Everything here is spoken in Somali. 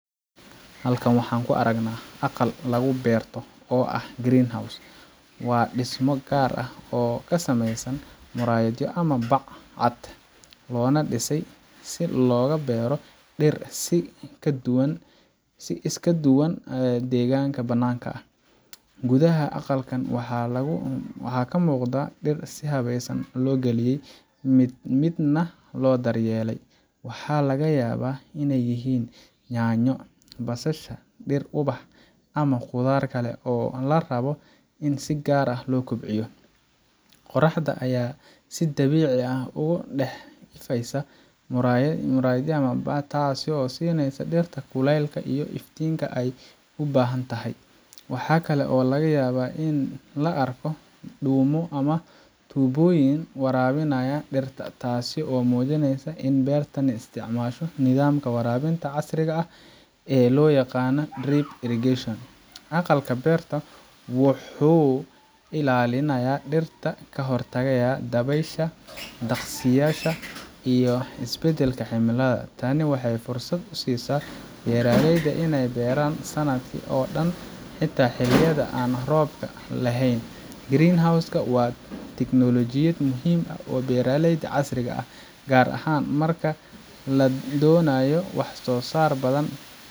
Halkan waxaan ku aragnaa aqal lagu beerto oo ah greenhouse, waa dhismo gaar ah oo ka samaysan muraayado ama bac cad, loona dhisay si loogu beero dhir si ka duwan deegaanka bannaanka. Gudaha aqalkaan waxaa ka muuqda dhir si habaysan loo geliyay, mid midna loo daryeelay. Waxaa laga yaabaa inay yihiin yaanyo, basasha, dhir ubax ah, ama khudaar kale oo la rabo in si gaar ah loo kobciyo. Qorraxda ayaa si dabiici ah uga dhex ifaysa muraayadaha, taasoo siinaysa dhirta kuleylka iyo iftiinka ay u baahan tahay. Waxa kale oo laga yaabaa in la arko dhuumo ama tuubooyin waraabinaya dhirta, taasoo muujinaysa in beertani isticmaasho nidaamka waraabinta casriga ah ee loo yaqaan drip irrigation. Aqalka beerta wuxuu ilaalinayaa dhirta ka hortagga dabaysha, daqsiyaasha, iyo isbedbedelka cimilada. Tani waxay fursad u siisaa beeraleyda inay beeraan sannadka oo dhan, xitaa xilliyada aan roobka la helin. greenhouse ka waa tiknoolojiyad muhiim u ah beeralayda casriga ah, gaar ahaan marka la doonayo wax soosaar badan,